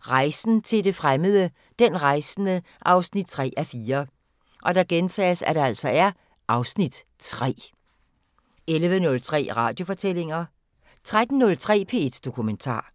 Rejsen til det fremmede: Den rejsende 3:4 (Afs. 3) 11:03: Radiofortællinger 13:03: P1 Dokumentar